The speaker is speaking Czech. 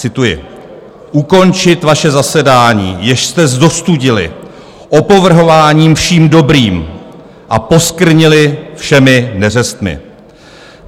Cituji: "Ukončit vaše zasedání, jež jste zostudili opovrhováním vším dobrým a poskvrnili všemi neřestmi.